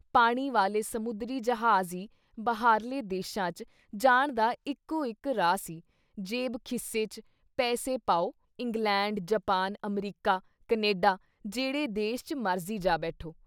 ਪਾਣੀ ਵਾਲੇ ਸਮੁੰਦਰੀ ਜਹਾਜ਼ ਈ ਬਾਹਰਲੇ ਦੇਸ਼ਾਂ ‘ਚ ਜਾਣ ਦਾ ਇੱਕੋ ਇੱਕ ਰਾਹ ਸੀ ਜ਼ੇਬ ਖੀਸੇ ‘ਚ ਪੈਸੇ ਪਾਉ, ਇੰਗਲੈਂਡ, ਜਾਪਾਨ, ਅਮਰੀਕਾ, ਕਨੇਡਾ ਜੇਹੜੇ ਦੇਸ਼ ‘ਚ ਮਰਜ਼ੀ ਜਾ ਬੈਠੋ।